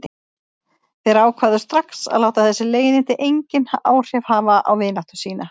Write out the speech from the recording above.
Þeir ákváðu strax að láta þessi leiðindi engin áhrif hafa á vináttu sína.